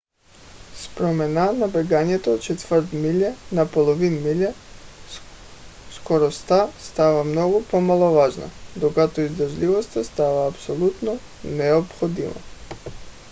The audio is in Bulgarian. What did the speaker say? с промяна на бягането от четвърт миля на половин миля скоростта става много по-маловажна докато издръжливостта става абсолютно необходима